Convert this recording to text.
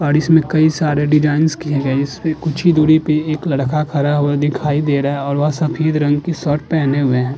समेत कई सारे डिजाइंस किए गए हैं इसपे कुछ ही दूरी पर एक लड़का खड़ा हुआ दिखाई दे रहा है और वह सफेद रंग की शर्ट पहने हुए है।